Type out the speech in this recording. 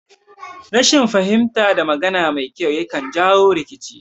Rashin fahimta da magana mai kyau yakan jawo rikici